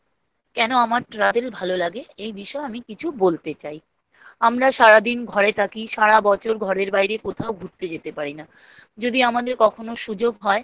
কেন আমার travel ভাল লাগে? এ বিষয়ে আমি কিছু বলতে চাই। আমরা সারাদিন ঘরে থাকি। সারা বছর ঘরে বাইরে কোথাও ঘুরতে যেতে পারি না।